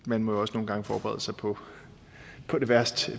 man må nogle gange forberede sig på på det værst